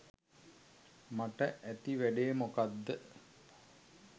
මට ඇති වැඩේ මොකක්‌ද?